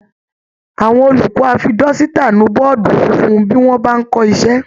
Awọn olùkọ́ á fi dọ́sítà nu bọ́ọ̀dù funfun bí wọ́n bá ń kọ iṣẹ́